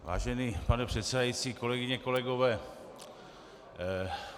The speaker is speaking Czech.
Vážený pane předsedající, kolegyně, kolegové.